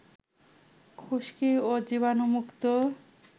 খুশকি ও জীবাণুমুক্ত